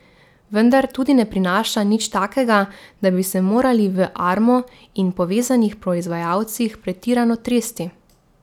Vendar tudi ne prinaša nič takega, da bi se morali v Armu in povezanih proizvajalcih pretirano tresti.